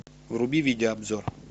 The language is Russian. вруби видеообзор